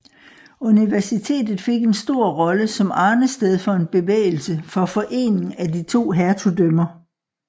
Universitet fik en stor rolle som arnested for en bevægelse for forening af de to hertugdømmer